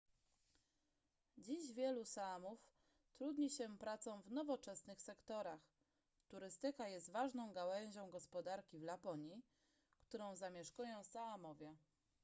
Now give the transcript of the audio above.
dziś wielu saamów trudni się pracą w nowoczesnych sektorach turystyka jest ważną gałęzią gospodarki w laponii którą zamieszkują saamowie